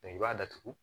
i b'a datugu